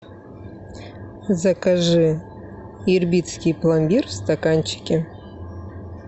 закажи ирбитский пломбир в стаканчике